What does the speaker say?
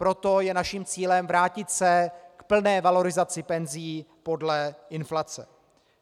Proto je naším cílem vrátit se k plné valorizaci penzí podle inflace.